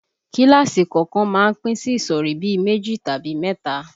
Kíláàsì kọ̀ọ̀kan má ń pín sí ìsọ̀rí bí i méjì tàbí mẹ́ta